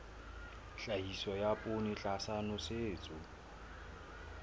tlhahiso ya poone tlasa nosetso